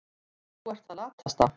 Þú ert það latasta.